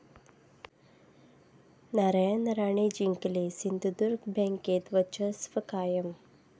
नारायण राणे जिंकले, सिंधुदुर्ग बँकेत वर्चस्व कायम